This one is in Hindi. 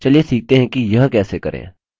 चलिए सीखते हैं कि यह कैसे करें